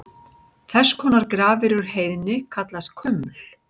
Þess konar grafir úr heiðni kallast kuml.